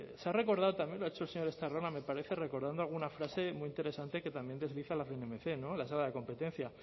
se ha recordado también lo ha hecho el señor estarrona me parece recordando alguna frase muy interesante que también la cnmc de la competencia